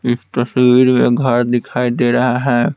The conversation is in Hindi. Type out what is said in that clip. इस तस्वीर में घर दिखाई दे रहा है।